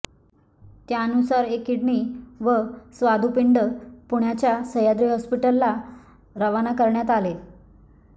त्यानुसार एक किडनी व स्वादुपिंड पुण्याच्या सह्याद्री हॉस्पिटलला रवाना करण्यात आले